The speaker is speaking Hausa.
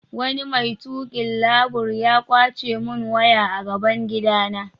Wani mai tukin labur ya kwace mun waya a gaban gida na.